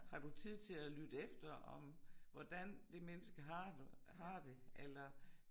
Har du tid til at lytte efter om hvordan det menneske har du har det eller